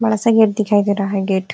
बड़ा सा गेट दिखाई दे रहा है। गेट --